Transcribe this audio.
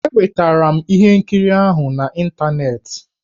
Enwetara m ihe nkiri ahụ n'ịntaneetị.